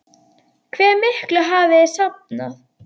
Hve miklu hafið þið safnað?